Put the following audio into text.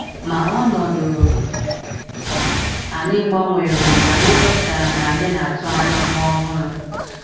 Ma ọnọdụ anyị gbanwere mgbe anyị chọpụtara na anyị na - atụ anya nwa ọhụrụ.